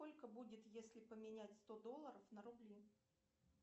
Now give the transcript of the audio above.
сколько будет если поменять сто долларов на рубли